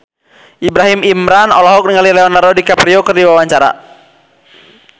Ibrahim Imran olohok ningali Leonardo DiCaprio keur diwawancara